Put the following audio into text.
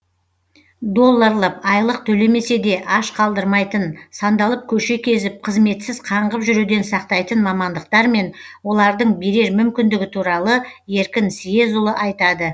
долларлап айлық төлемесе де аш қалдырмайтын сандалып көше кезіп қызметсіз қаңғып жүруден сақтайтын мамандықтар мен олардың берер мүмкіндігі туралы еркін съезұлы айтады